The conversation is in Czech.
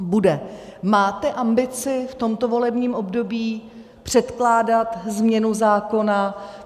Máte ambici v tomto volebním období předkládat změnu zákona?